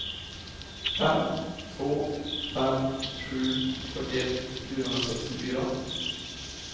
fem två fem sju fyrtioett fyrahundrasextiofyra